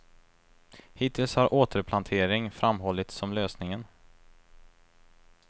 Hittills har återplantering framhållits som lösningen.